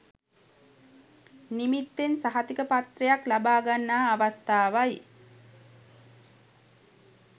නිමිත්තෙන් සහතිකපත්‍රයක් ලබාගන්නා අවස්ථාවයි.